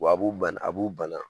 Wa a b'u bana ,a b'u bana!